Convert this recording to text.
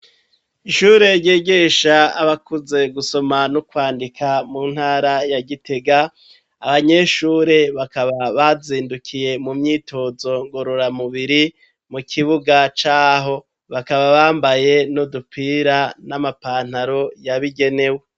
Ishure ryigisha abakuze gusoma no kwandika mu ntara ya Gitega abanyeshure bakaba bazindukiye mu myitozo ngorora mubiri mu kibuga caho bakaba bambaye n'udupira n'amapantaro yabigenewe